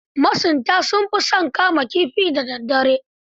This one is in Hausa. Masunta sun fi son kama kifi da daddare.